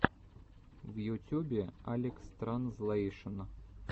в ютюбе алекстранзлэйшн